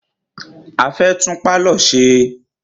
A fẹ́ tún pálọ̀ ṣe.